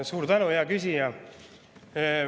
Suur tänu, hea küsija!